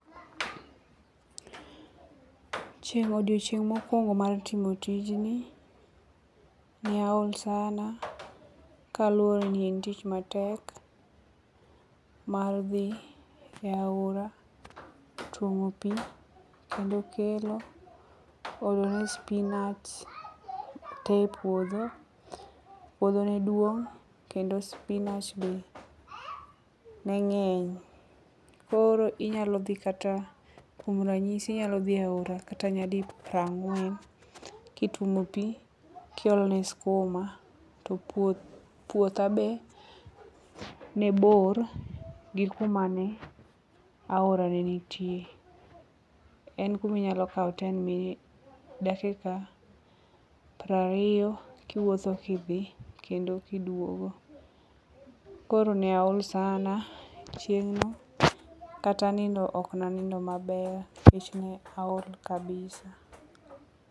odiochieng' mokwongo mar timo tijni, ne aol sana kaluwore ni en tich matek mar dhi e aora tuomo pi, kendo kelo ,olo ne spinach te e puodho, puodho ne duong' kendo spinach be ne ng'eny. Koro inyalo dhi kata, kuom ranyisi inyalo dhi e aora kata nyadi prang'wen, kituomo pi kiolone skuma, to puotha be nebor gi kuma ne aora ne nitie. En kuma inyalo kawo ten minutes, dakika prariyo kiwuotho kidhi, kendo kiduogo. Koro ne aol sana chieng'no, kata nindo ok nanindo maber nikech ne aol kabisa.